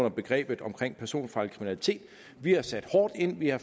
i begrebet personfarlig kriminalitet vi har sat hårdt ind vi har